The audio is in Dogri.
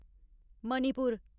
मणिपुर